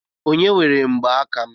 Onye were mgbaaka m?